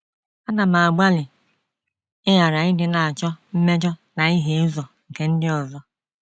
Ana m agbalị ịghara ịdị na - achọ mmejọ na ihie ụzọ nke ndị ọzọ.